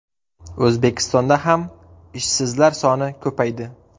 O‘zbekistonda ham ishsizlar soni ko‘paydi.